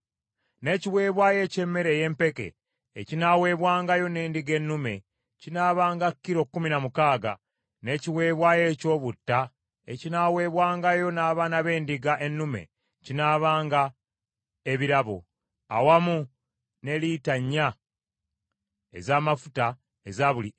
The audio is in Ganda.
n’ekiweebwayo eky’emmere ey’empeke ekinaaweebwangayo n’endiga ennume kinaabanga kilo kkumi na mukaaga, n’ekiweebwayo eky’obutta ekinaaweebwangayo n’abaana b’endiga ennume binaabanga ebirabo, awamu ne lita nnya ez’amafuta eza buli efa.